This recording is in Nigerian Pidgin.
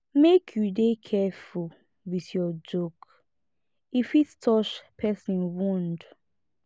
make you dey careful with your joke e fit touch person wound